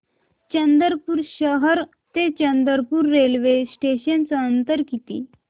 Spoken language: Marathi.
चंद्रपूर शहर ते चंद्रपुर रेल्वे स्टेशनचं अंतर किती